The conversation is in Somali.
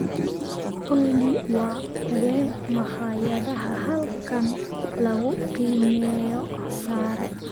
olly waa kuwee makhaayadaha halkan lagu qiimeeyo sare